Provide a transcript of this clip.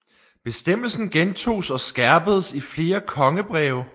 Bestemmelsen gentoges og skærpedes i flere kongebreve